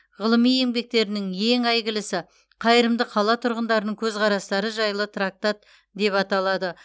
ғылыми еңбектерінің ең әйгілісі қайырымды қала тұрғындарының көзқарастары жайлы трактат деп аталады